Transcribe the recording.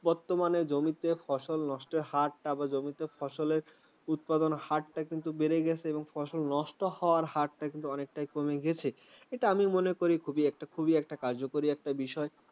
বর্তমানে জমিতে ফসল নষ্টের হার বা জমিতে ফসলের উৎপাদন হারটা কিন্তু বেড়ে গেছে এবং ফসল নষ্ট হওয়ার হারটা কিন্তু অনেকটাই কমে গেছে। এইটা আমি মনে করি খুব একটা খুবই একটা কার্যকরী একটা বিষয়